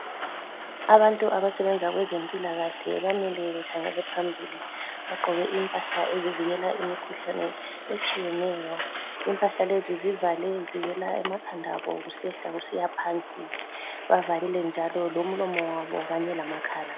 Abantu abasebenza kwezempilakahle bamile bekhangele phambili. Bagqoke impahla ezivikela imikhuhlane etshiyeneyo. Impahla lezi zivale zivela emakhandabo kusehla kusiya phansi. Bavalile njalo lomlomo wabo kanye lamakhala.